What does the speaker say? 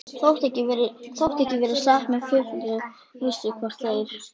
Þótt ekki verði sagt með fullri vissu, hvort þeir